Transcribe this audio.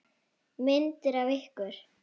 Myndir af ykkur.